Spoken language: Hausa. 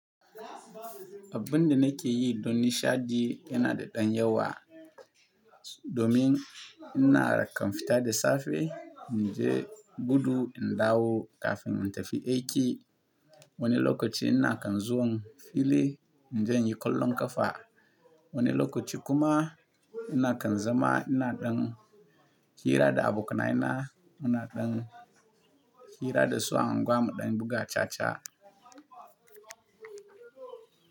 Abin da nake yi don nishaɗi yana da ɗan yawa. Domin ina kan fita da safe in je gudu in dawo kafin in tafi aiki. Wani lokaci ina kan zuwa fili in je in yi kallon ƙafa. Wani lokaci kuma ina kan zama ina ɗin hira da abokanai na, ina ɗin hira da su a unguwar mu ɗan buga caca.